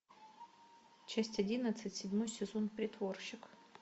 часть одиннадцать седьмой сезон притворщик